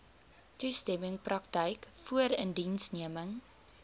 toestemming praktyk voorindiensneming